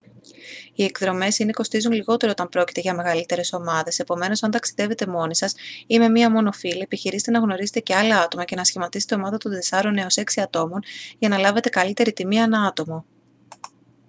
οι εκδρομές είναι κοστίζουν λιγότερο όταν πρόκειται για μεγαλύτερες ομάδες επομένως αν ταξιδεύετε μόνοι σας ή με μία μόνο φίλη επιχειρήστε να γνωρίσετε και άλλα άτομα και να σχηματίσετε ομάδα των τεσσάρων έως έξι ατόμων για να λάβετε καλύτερη τιμή ανά άτομο